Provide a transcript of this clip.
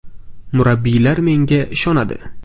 Murabbiylar menga ishonadi.